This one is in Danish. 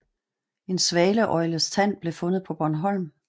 En svaneøgles tand blev fundet på Bornholm